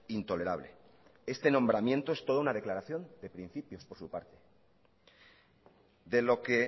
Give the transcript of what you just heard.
intolerable este nombramiento es toda una declaración de principios por su parte de lo que